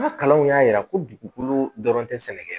N ka kalanw y'a yira kolo dɔrɔn tɛ sɛnɛ kɛ